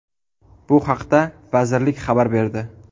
Bu haqda vazirlik xabar berdi.